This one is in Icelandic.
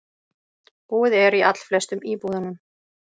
Búið er í allflestum íbúðunum